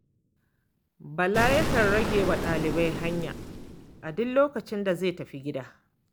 Bala yakan rage wa ɗalibai hanya a duk lokacin da zai tafi gida.